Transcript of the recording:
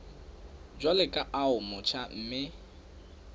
jwalo ka o motjha mme